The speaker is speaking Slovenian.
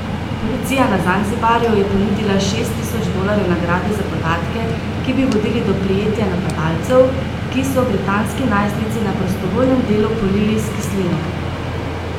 Policija na Zanzibarju je ponudila šest tisoč dolarjev nagrade za podatke, ki bi vodili do prijetja napadalcev, ki so britanski najstnici na prostovoljnem delu polili s kislino.